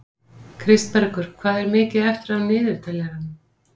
Kristbergur, hvað er mikið eftir af niðurteljaranum?